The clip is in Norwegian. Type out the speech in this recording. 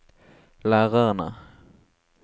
lærerne